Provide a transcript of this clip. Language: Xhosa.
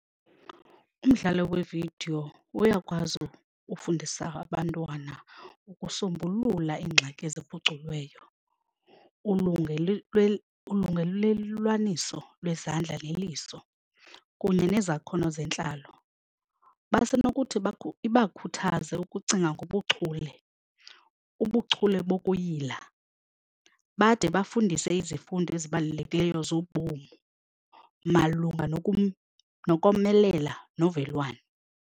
Umdlalo wevidiyo uyakwazi ufundisa abantwana ukusombulula iingxaki eziphuculiweyo, ulungelelwaniso lwezandla neliso kunye nezakhono zentlalo. Basenokuthi ibakhuthaze ukucinga ngobuchule, ubuchule bokuyila bade bafundise izifundo ezibalulekileyo zobomi malunga nokomelela novelwano.